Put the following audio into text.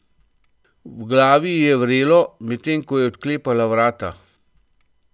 V glavi ji je vrelo, medtem ko je odklepala vrata.